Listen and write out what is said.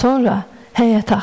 Sonra həyəti axtardı.